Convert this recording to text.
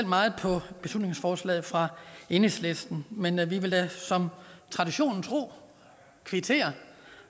meget på beslutningsforslaget fra enhedslisten men vi vil da traditionen tro kvittere